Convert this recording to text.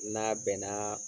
N n'a bɛnna